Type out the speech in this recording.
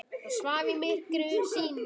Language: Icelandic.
Það svaf í myrkri sínu.